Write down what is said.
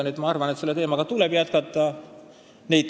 Nii et ma arvan, et selle teemaga tegelemist tuleb jätkata.